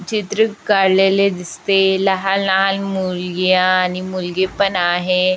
चित्र काडलेल दिसतय लहान लहान मूलग्या आणि मुलगी पण आहे.